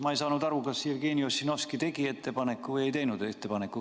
Ma ei saanud aru, kas Jevgeni Ossinovski tegi ettepaneku või ei teinud ettepaneku.